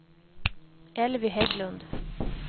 Elvy Hägglund